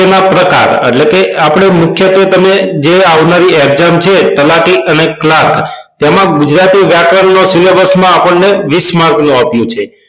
તેના પ્રકાર એટલે કે આપડે મુખ્યત્વે તમે જે આવનારી exam છે તેમાંથી અને ક્લાર્ક તેમાંથી ગુજરાતી વ્યાકરણ નો syllabus માં આપણનો વીસ માર્કનું આપ્યું છે